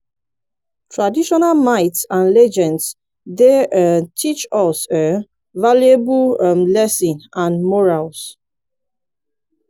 traditonal myths and legends dey um teach us um valuable um lessons and morals.